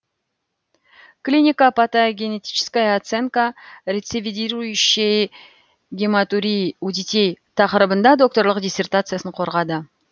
клинико патогенетическая оценка рецидивирующей гематурии у детей тақырыбында докторлық диссертациясын қорғады